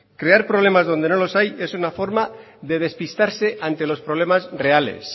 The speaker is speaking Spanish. crear problemas donde no los hay es una forma de despistarse ante los problemas reales